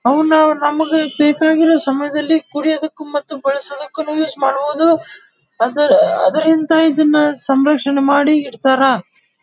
ಅವುನ ನಮಗೆ ಬೇಕಾಗಿರುವ ಸಮಯದಲ್ಲಿ ಕುಡಿಯಕ್ಕು ಮತ್ತು ಬಳಸಲಕ್ಕು ಯೂಸ್ ಮಾಡಬಹುದು ಅದ ಅದರಿಂದ ಇದನ್ನ ಸಂರಕ್ಷಣಾ ಮಾಡಿ ಇಡ್ತಾರ.